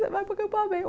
Você vai para acampamento.